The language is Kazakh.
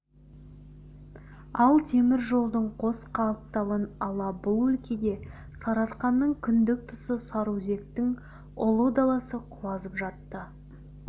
ал теміржолдың қос қапталын ала бұл өлкеде сарыарқаның кіндік тұсы сарыөзектің ұлы даласы құлазып жатты